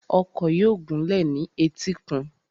Ọkọ̀ yóò gúnlẹ̀ ní etíkun.